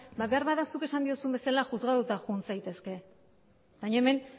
beharbada zuk esan diozun bezala juzgadoetara joan zaitezke baina hemen